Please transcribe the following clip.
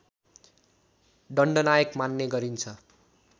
दण्डनायक मान्ने गरिन्छ